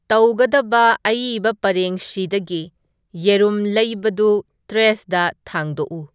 ꯇꯧꯒꯗꯕ ꯑꯏꯕ ꯄꯔꯦꯡꯁꯤꯗꯒꯤ ꯌꯦꯔꯨꯝ ꯂꯩꯕꯗꯨ ꯇ꯭ꯔꯦꯁꯗ ꯊꯥꯡꯗꯣꯛꯎ